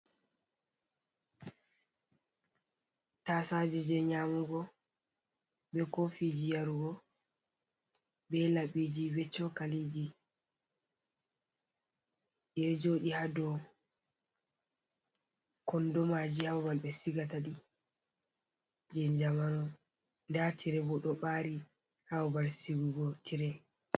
Tasaje ji nyamugo, be kofiji yarugo, be laɓiji, be cokaliji e joɗi hadow kondomaji ha babal ɓe sigataɗi je jamano, nda tirebo ɗo ɓari haababal sigugo tire.